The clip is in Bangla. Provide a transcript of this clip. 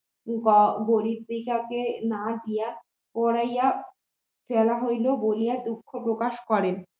না দিয়া পুড়াইয়া ফেলা হইল বলিয়া দুঃখ প্রকাশ করেন